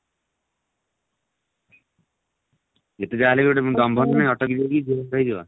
ଯେତେ ଯାହା ହେଲେ ବି ଗୋଟେ auto ହଉ କି ଯଉଥିରେ ଯିବ